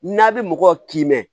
N'a bɛ mɔgɔ kin